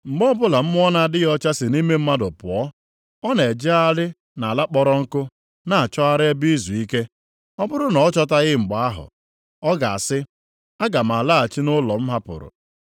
“Mgbe ọbụla mmụọ na-adịghị ọcha sị nʼime mmadụ pụọ, ọ na-ejegharị nʼala kpọrọ nkụ na-achọgharị ebe izuike. Ọ bụrụ na ọ chọtaghị ya, mgbe ahụ, ọ ga-asị, ‘Aga m alaghachi nʼụlọ m hapụrụ.’